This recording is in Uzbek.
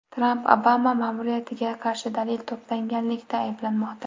Tramp Obama ma’muriyatiga qarshi dalil to‘plaganlikda ayblanmoqda.